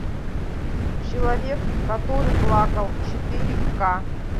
человек который плакал четыре к